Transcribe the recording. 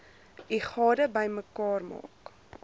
u gade bymekaar